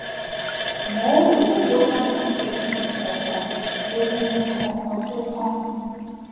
mo ń rò ó bóyá mo ní egungun kankan egungun kankan tó kán